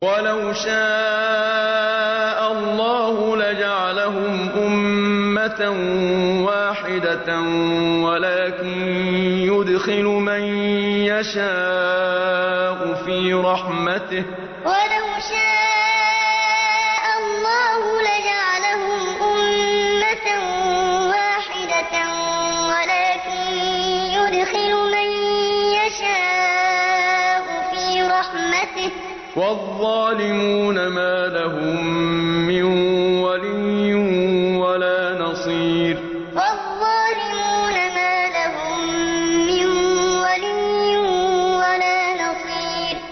وَلَوْ شَاءَ اللَّهُ لَجَعَلَهُمْ أُمَّةً وَاحِدَةً وَلَٰكِن يُدْخِلُ مَن يَشَاءُ فِي رَحْمَتِهِ ۚ وَالظَّالِمُونَ مَا لَهُم مِّن وَلِيٍّ وَلَا نَصِيرٍ وَلَوْ شَاءَ اللَّهُ لَجَعَلَهُمْ أُمَّةً وَاحِدَةً وَلَٰكِن يُدْخِلُ مَن يَشَاءُ فِي رَحْمَتِهِ ۚ وَالظَّالِمُونَ مَا لَهُم مِّن وَلِيٍّ وَلَا نَصِيرٍ